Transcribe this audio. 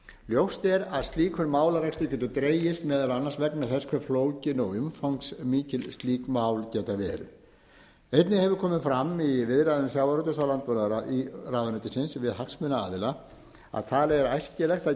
ljóst er að slíkur málarekstur getur dregist meðal annars vegna þess hve flókin og umfangsmikil slík mál geta verið einnig hefur komið fram í viðræðum sjávarútvegs og landbúnaðarráðuneytisins við hagsmunaaðila að talið er æskilegt að